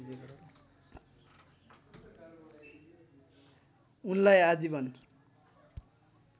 उनलाई आजिवन